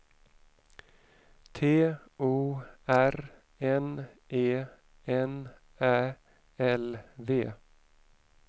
T O R N E N Ä L V